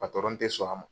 patɔrɔn tɛ sɔn a ma